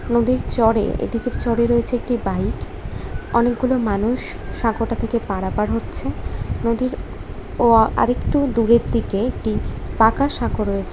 নদীর চরে এদিকের চরে রয়েছে একটি বাইক অনেকগুলো মানুষ সাঁকোটা থেকে পারাপার হচ্ছে নদীর ও আরেকটু দূরের দিকে একটি পাকা সাঁকো রয়ে--